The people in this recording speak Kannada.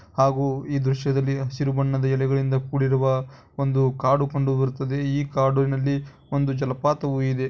ಹಾಗೂ ಈ ದೃಶ್ಯದಲ್ಲಿ ಹಸಿರು ಬಣ್ಣ ಎಲೆಗಲಿಂದ ಕೂಡಿದ ಒಂದು ಕಾಡು ಕಂಡು ಬರುತ್ತದೆ ಈ ಕಾಡಿನಲ್ಲಿ ಒಂದು ಜಲಪಾತವೂ ಇದೆ.